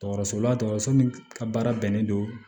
Dɔgɔtɔrɔso la dɔgɔtɔrɔso min ka baara bɛnnen don